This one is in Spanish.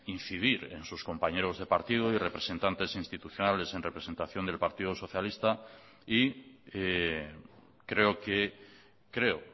incidir en sus compañeros de partido y representantes institucionales en representación del partido socialista y creo que creo